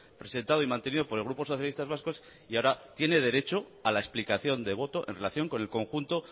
presentado y mantenido por el grupo socialistas vascos y ahora tiene derecho a la explicación de voto en relación con el conjunto